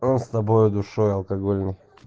он с тобой душой алкогольной